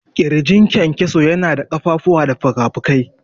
ƙirjin kyankyaso yana da ƙafafuwa da fikafiki.